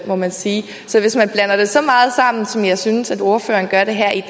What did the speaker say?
må man sige så hvis man blander det så meget sammen som jeg synes ordføreren gør det her i